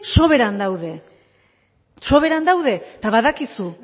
soberan daude soberan daude eta badakizu